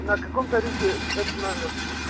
на каком тарифе этот номер